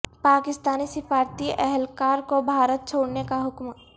پاکستانی سفارتی اہل کار کو بھارت چھوڑنے کا حکم